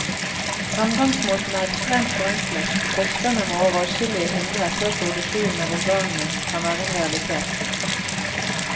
Fremgangsmåten er ekstremt forenklet, og forskerne må over adskillige hindre før produksjon av organene kan være en realitet.